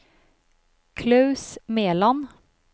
Klaus Meland